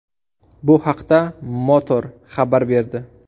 Bu haqda ”Motor” xabar berdi .